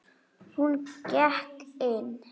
Hún gekk inn.